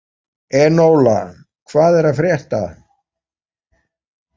Enóla, hvað er að frétta?